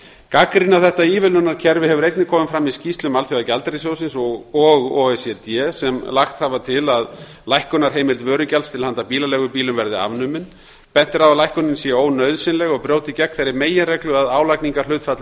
gagnrýni á þetta ívilnunarkerfi hefur einnig komið fram í skýrslum alþjóðagjaldeyrissjóðsins og o e c d sem lagt hafa til að lækkunarheimild vörugjalds til handa bílaleigubílum verði afnumin bent er á að lækkunin sé ónauðsynleg og brjóti gegn þeirri meginreglu að álagningarhlutfall